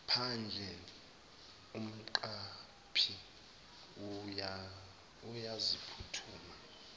phandle umqaphi uyaphuthuma